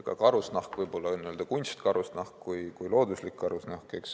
Ka karusnahk, võib öelda nii kunstkarusnahk kui ka looduslik karusnahk, eks.